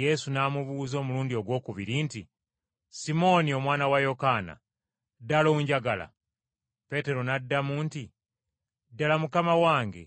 Yesu n’amubuuza omulundi ogwokubiri nti, “Simooni omwana wa Yokaana, ddala onjagala?” Peetero n’addamu nti, “Ddala, Mukama wange,